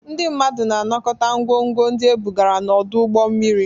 Ndị mmadụ na-anakọta ngwongwo ndị ebugara n'ọdụ ụgbọ mmiri.